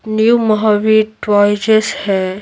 New Mahavir टवाइजेस है।